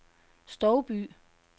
Stouby